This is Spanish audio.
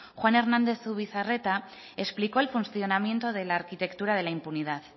juan hernández zubizarreta explicó el funcionamiento de la arquitectura de la impunidad